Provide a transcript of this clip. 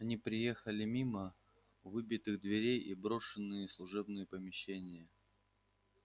они приехали мимо выбитых дверей и брошенные служебные помещения